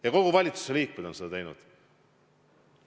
Ja kõik valitsuse liikmed on seda teinud.